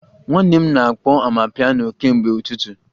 Nwanne m na-akpọ amapiano kemgbe ụtụtụ